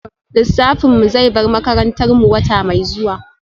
Lissafin mu zai bar makarantar mu wata mai zuwa